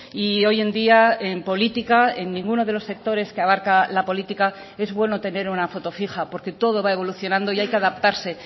y hoy en día en política en ninguno de los sectores que abarca la política es bueno tener una foto fija porque todo va evolucionando y hay que adaptarse